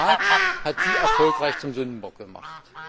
Der Rat hat Sie erfolgreich zum Sündenbock gemacht.